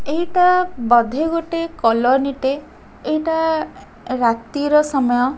ଏଇଟା ବଧେ ଗୋଟେ କଲୋନୀ ଟେ ଏଇଟା ରାତି ର ସମୟ।